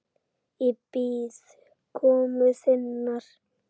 Ég bíð komu þinnar.